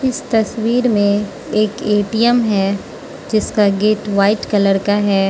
इस तस्वीर में एक ए_टी_एम है जिसका गेट व्हाइट कलर का है।